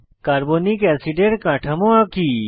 carbonic অ্যাসিডের কাঠামো আঁকি